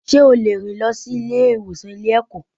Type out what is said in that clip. Sé ó lè rìn lọ sí Ilé ìwòsàn Ilé ẹ̀kọ́